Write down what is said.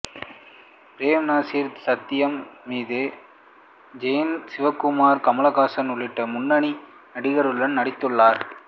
frame Nazir Sathyan Madhu Jayan Sukumaran Kamal Haasan உள்ளிட்ட முன்னணி நடிகர்களுடன் நடித்துள்ளார்